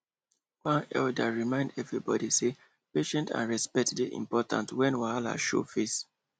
one elder remind everybody say patience and respect dey important when wahala show face